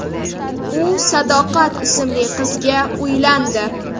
U Sadoqat ismli qizga uylandi.